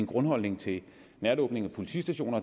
grundholdning til lukning af politistationer